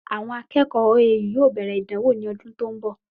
Àwọn akẹ́kọ̀ọ́ OAU yóò bẹ̀rẹ̀ ìdánwò ní ọdún tí òún bo